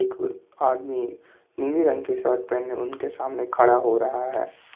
आदमी नीले रंग के शर्ट पहने उनके सामने खड़ा हो रहा है।